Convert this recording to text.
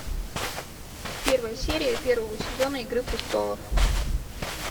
первая серия первого сезона игры престолов